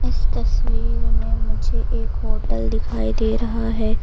इस तस्वीर में मुझे एक होटल दिखाई दे रहा है।